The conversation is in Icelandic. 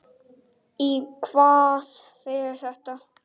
Í hvað fer þetta þá?